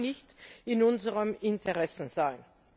Das kann nicht in unserem Interesse sein.